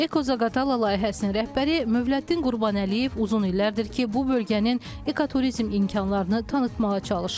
Eko Zaqatala layihəsinin rəhbəri Mövləddin Qurbanəliyev uzun illərdir ki, bu bölgənin ekoturizm imkanlarını tanıtmağa çalışır.